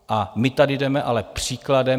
A my tady jdeme ale příkladem.